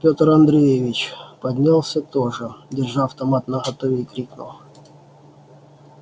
пётр андреевич поднялся тоже держа автомат наготове и крикнул